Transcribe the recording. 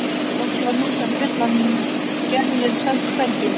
Loks var rútan full en Gerður sást hvergi.